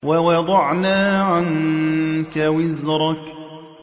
وَوَضَعْنَا عَنكَ وِزْرَكَ